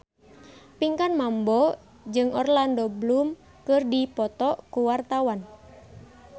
Pinkan Mambo jeung Orlando Bloom keur dipoto ku wartawan